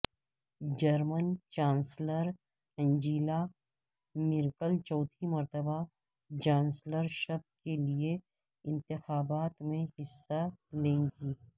German chancellor Angela Merkel چوتھی مرتبہ chancellorship کے لیے انتخابات میں حصہ لیں گی